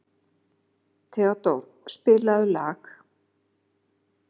Theódór, spilaðu lag.